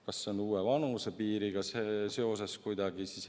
Kas see on uue vanusepiiriga seoses kuidagi?